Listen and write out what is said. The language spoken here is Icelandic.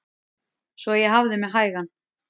Svo ég hafði mig hægan.